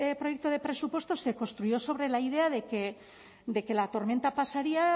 proyecto de presupuestos se construyó sobre la idea de que la tormenta pasaría